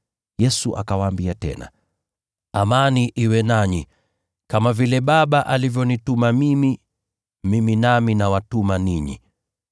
Yesu akawaambia tena, “Amani iwe nanyi! Kama vile Baba alivyonituma mimi, mimi nami nawatuma ninyi.”